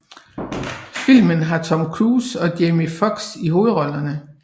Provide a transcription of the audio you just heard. Filmen har Tom Cruise og Jamie Foxx i hovedrollerne